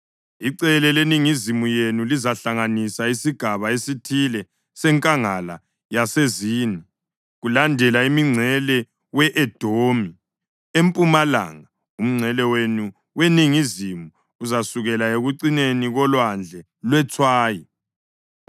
Icele leningizimu yenu lizahlanganisa isigaba esithile seNkangala yaseZini kulandela umngcele we-Edomi. Empumalanga, umngcele wenu weningizimu uzasukela ekucineni koLwandle lweTswayi,